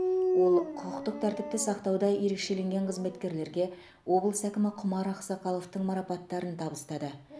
ол құқықтық тәртіпті сақтауда ерекшеленген қызметкерлерге облыс әкімі құмар ақсақаловтың марапаттарын табыстады